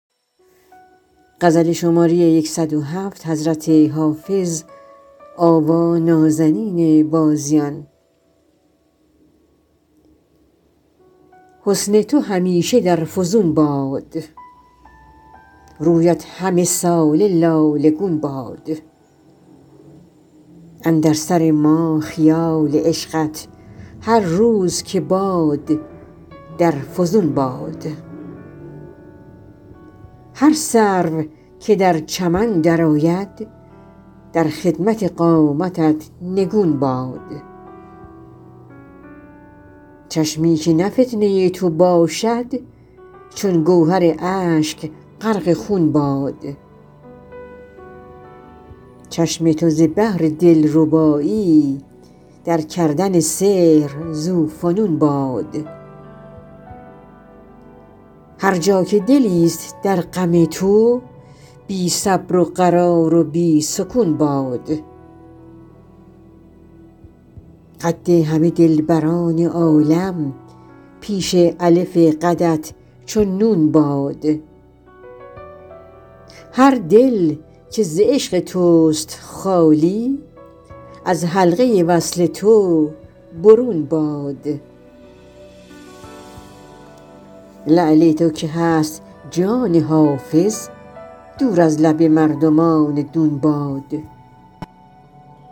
حسن تو همیشه در فزون باد رویت همه ساله لاله گون باد اندر سر ما خیال عشقت هر روز که باد در فزون باد هر سرو که در چمن درآید در خدمت قامتت نگون باد چشمی که نه فتنه تو باشد چون گوهر اشک غرق خون باد چشم تو ز بهر دلربایی در کردن سحر ذوفنون باد هر جا که دلیست در غم تو بی صبر و قرار و بی سکون باد قد همه دلبران عالم پیش الف قدت چو نون باد هر دل که ز عشق توست خالی از حلقه وصل تو برون باد لعل تو که هست جان حافظ دور از لب مردمان دون باد